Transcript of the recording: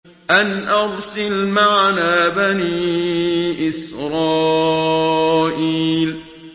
أَنْ أَرْسِلْ مَعَنَا بَنِي إِسْرَائِيلَ